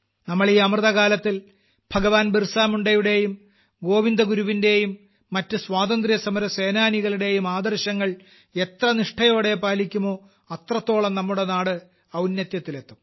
നമ്മൾ ഈ അമൃതകാലത്തിൽ ഭഗവാൻ ബിർസമുണ്ടയുടെയും ഗോവിന്ദഗുരുവിന്റെയും മറ്റു സ്വാതന്ത്ര്യസമരസേനാനികളുടെയും ആദർശങ്ങൾ എത്ര നിഷ്ഠയോടെ പാലിക്കുമോ അത്രത്തോളം നമ്മുടെ നാട് ഔന്നത്യത്തിലെത്തും